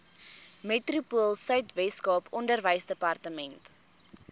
metropoolsuid weskaap onderwysdepartement